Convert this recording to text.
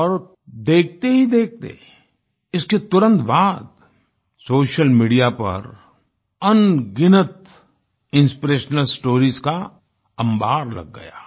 और देखते ही देखते इसके तुरंत बाद सोशल मीडिया पर अनगिनत इंस्पिरेशनल स्टोरीज का अम्बार लग गया